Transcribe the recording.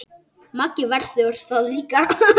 Maggi verður það líka.